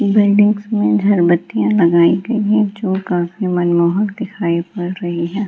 ई buildings में झर बत्तियां लगायी गयी है जो काफी मनमोहक दिखाई पड़ रही है।